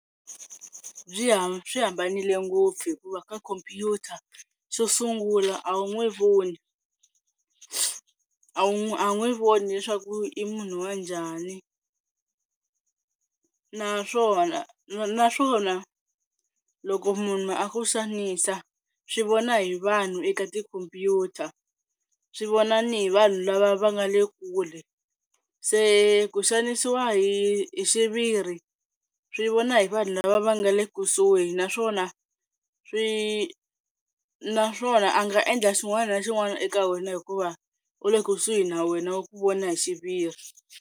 Byi ha swi hambanile ngopfu hikuva ka khompyuta xo sungula a wu n'wi voni a wu n'wi a n'wi vona leswaku i munhu wa njhani. Naswona, naswona loko munhu a ku xanisa swi vona hi vanhu eka tikhompyuta swi vona ni hi vanhu lava va nga le kule. Se ku xanisiwa hi xiviri swi vona hi vanhu lava va nga le kusuhi naswona swi naswona a nga endla xin'wana na xin'wana eka wena hikuva u le kusuhi na wena u ku vona hi xiviri.